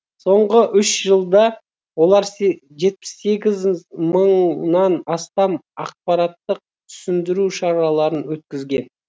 соңғы үш жылда олар жетпіс сегіз мыңнан астам ақпараттық түсіндіру шараларын өткізген